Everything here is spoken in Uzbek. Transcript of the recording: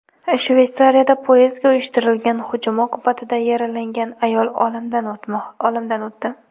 Shveysariyada poyezdga uyushtirilgan hujum oqibatida yaralangan ayol olamdan o‘tdi.